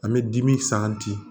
An bɛ dimi